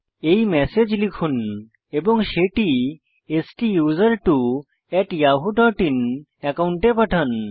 এই ম্যাসেজ লিখুন এবং সেটি STUSERTWO yahooআইএন একাউন্টে পাঠান